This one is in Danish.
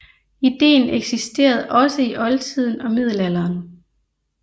Ideen eksisterede også i oldtiden og middelalderen